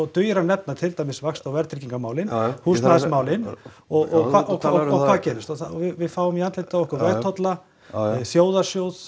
dugir að nefna vaxta og verðtryggingarmálin húsnæðismálin og hvað gerist við fáum í andlitið á okkur vegtolla þjóðarsjóð